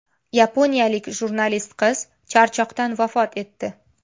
Yaponiyalik jurnalist qiz charchoqdan vafot etdi.